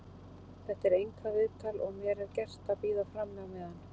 Þetta er einkaviðtal og mér er gert að bíða frammi á meðan.